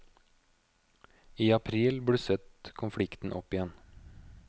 I april blusset konflikten opp igjen.